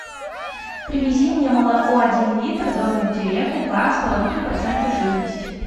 привези мне молоко один литр домик в деревне два с половиной процента жирности